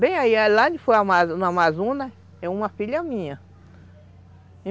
Bem aí, lá no Amazonas, é uma filha minha.